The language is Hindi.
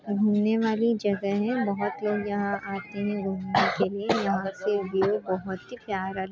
घूमने वाली जगह है बहुत लोग यहाँ आते हैं घूमने के लिए यहाँ से व्यूह बहुत ही प्यारा--